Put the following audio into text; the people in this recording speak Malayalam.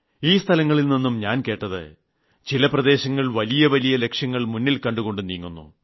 ഈ സ്ഥലങ്ങളിൽനിന്നും ഞാൻ കേട്ടത് ചില പ്രദേശങ്ങൾ വലിയ വലിയ ലക്ഷ്യങ്ങൾ മുന്നിൽകണ്ടുകൊണ്ട് നീങ്ങുന്നു